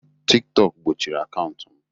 tiktok gbochiri akaụntụ m